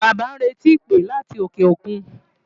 Bàbá ń retí ìpè láti òkè òkun.